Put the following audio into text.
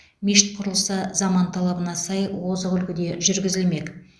мешіт құрылысы заман талабына сай озық үлгіде жүргізілмек